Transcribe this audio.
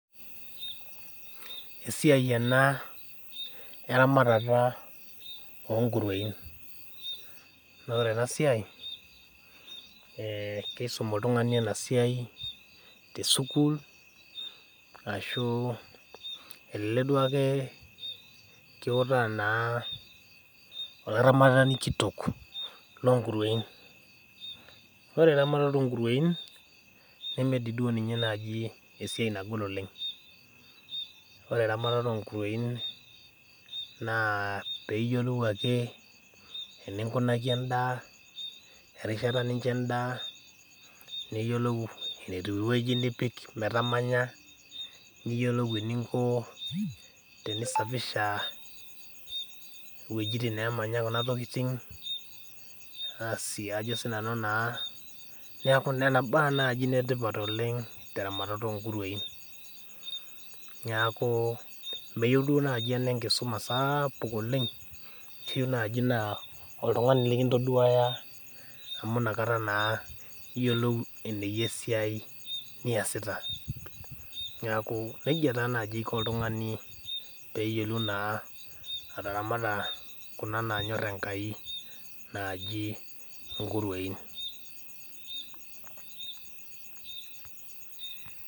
Esiai ena eramatata onkurwein, naa ore ena siai ,keisum oltungani ena siai tesukul ashu elek duake kitaa naa olaramatani kitok loonkurwein. ore eramatata oonkurwein neme dii ninye naaji esiai nagol oleng ,ore eramatata onkurwein naa pee iyiolou ake eninkunaki endaa ,erishata nicho endaa ,niyiolou enipik metamanya ,niyiolou eninko tenisapishaiwejitin nemanya kuna tokiting ,neeku Nena baa naaji netipata oleng teramatata onkurwein ,neeku meyieu naaji ena enkisuma sapuk oleng ,keyeiu naaji naa oltungani likintoduaya amu inakata naa iyiolou eneyia esiai niyasita ,neeku nejia naa naji eko oltungani pee eyiolou ataramata kuna naanyor Enkai naaji nkurwein .